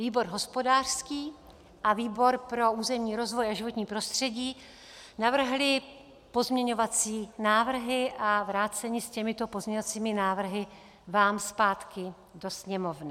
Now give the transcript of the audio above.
Výbor hospodářský a výbor pro územní rozvoj a životní prostředí navrhly pozměňovací návrhy a vrácení s těmito pozměňovacími návrhy vám zpátky do Sněmovny.